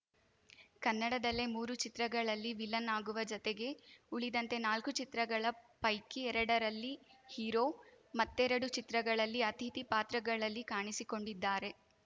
ಕನ್ನಡದಲ್ಲೇ ಮೂರು ಚಿತ್ರಗಳಲ್ಲಿ ವಿಲನ್‌ ಆಗುವ ಜತೆಗೆ ಉಳಿದಂತೆ ನಾಲ್ಕು ಚಿತ್ರಗಳ ಪೈಕಿ ಎರಡರಲ್ಲಿ ಹೀರೋ ಮತ್ತೆರಡು ಚಿತ್ರಗಳಲ್ಲಿ ಅತಿಥಿ ಪಾತ್ರಗಳಲ್ಲಿ ಕಾಣಿಸಿಕೊಂಡಿದ್ದಾರೆ